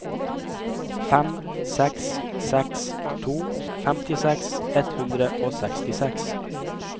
fem seks seks to femtiseks ett hundre og sekstiseks